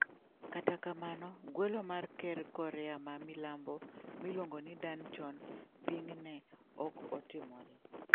Kata kamano, gwelo mar ker Korea ma milambo miluongo ni Dan chon-ping ne ok otimore.